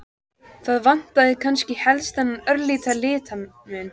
Það vantaði kannski helst þennan örlitla litamun.